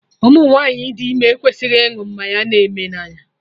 Ụmụ nwanyị dị ime ekwesịghị ịnụ mmanya na-eme n'anya